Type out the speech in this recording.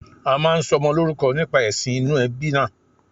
A máa ń sọmọ lórúkọ nípa èsìn inú ebí náà